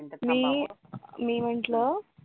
मी मी म्हंटल